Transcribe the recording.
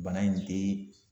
Bana in te